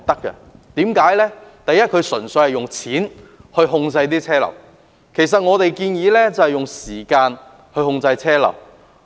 政府的方案純粹是用金錢控制車流；而我們建議的則是用時間控制車流。